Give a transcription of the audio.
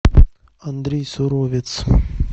андрей суровец